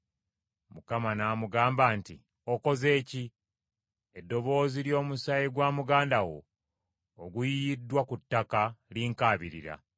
Mukama n’amugamba nti, “Okoze ki? Eddoboozi ly’omusaayi gwa muganda wo oguyiyiddwa ku ttaka linkaabirira.